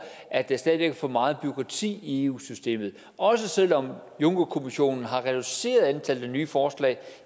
at der stadig væk er for meget bureaukrati i eu systemet og selv om juncker kommissionen har reduceret antallet af nye forslag